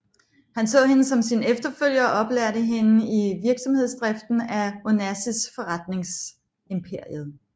Han så hende som sin efterfølger og oplærte hende i virksomhedsdriften af Onassis forretningsimperiet